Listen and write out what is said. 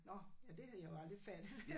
Nåh ja det havde jeg jo aldrig fattet